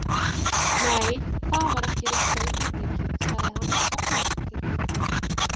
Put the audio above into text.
Nei, það var ekki rétta augnablikið, sagði hann og glotti.